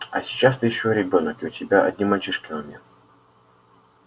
а сейчас ты ещё ребёнок и у тебя одни мальчишки на уме